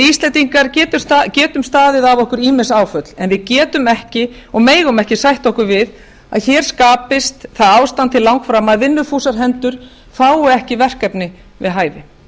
íslendingar getum staðið af okkur ýmis áföll en við getum ekki og megum ekki sætta okkur við að hér skapist það ástand til langframa að vinnufúsar hendur fái ekki verkefni við hæfi